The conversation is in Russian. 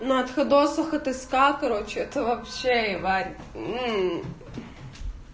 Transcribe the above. на отходосах отыскал короче это вообще ебать мм